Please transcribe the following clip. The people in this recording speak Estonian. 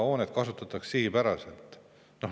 Hoonet kasutatakse sihipäraselt.